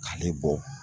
K'ale bɔ